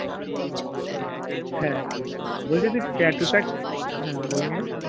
হ্যাঁ বলছি যে tattoo তা হ্যাঁ বলে নে